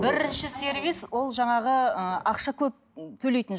бірінші сервис ол жаңағы ыыы ақша көп төлейтін